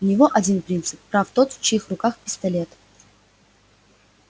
у него один принцип прав тот в чьих руках пистолет